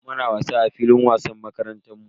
Muna wasa a filin wasan makarantar mu.